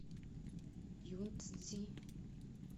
юнцзи